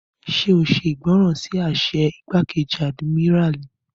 Ṣé o ṣe ìgbọràn sí àṣẹ igbákejì àdìmíràlí?